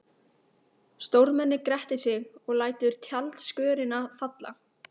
Stórmennið grettir sig og lætur tjaldskörina falla.